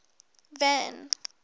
van